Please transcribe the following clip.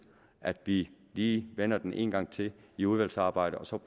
at vi lige vender den en gang til i udvalgsarbejdet og så